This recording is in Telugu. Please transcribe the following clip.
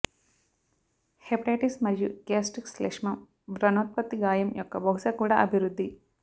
హెపటైటిస్ మరియు గ్యాస్ట్రిక్ శ్లేష్మం వ్రణోత్పత్తి గాయం యొక్క బహుశా కూడా అభివృద్ధి